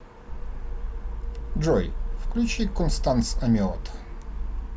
джой включи констанс амиот